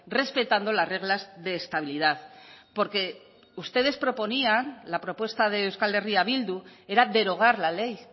respetando las reglas de estabilidad porque ustedes proponían la propuesta de euskal herria bildu era derogar la ley